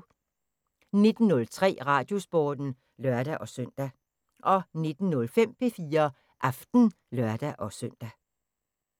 19:03: Radiosporten (lør-søn) 19:05: P4 Aften (lør-søn)